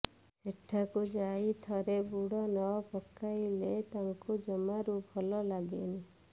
ସେଠାକୁ ଯାଇ ଥରେ ବୁଡ଼ ନ ପକେଇଲେ ତାଙ୍କୁ ଜମାରୁ ଭଲ ଲାଗେନି